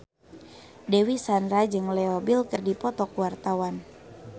Dewi Sandra jeung Leo Bill keur dipoto ku wartawan